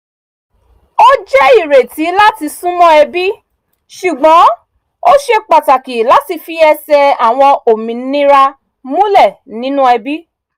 ó jẹ́ ìrètí láti súnmọ́ ẹbí ṣùgbọ́n ó ṣe pàtàkì láti fi ẹsẹ̀ àwọn òmìnira múlẹ̀ nínú ẹbí